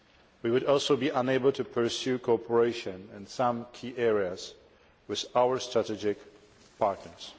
We would also be unable to pursue cooperation in some key areas with our strategic partners.